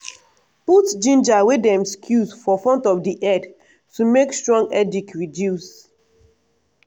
put ginger wey dem squeeze for front of di head to make strong headache reduce.